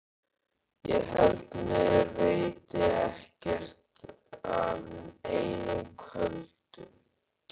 Ég held mér veiti ekkert af einum köldum.